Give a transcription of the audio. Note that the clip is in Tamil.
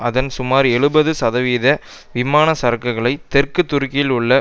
அதன் சுமார் எழுபது சதவீத விமான சரக்குகளை தெற்கு துருக்கியில் உள்ள